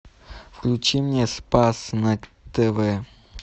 включи мне спас на тв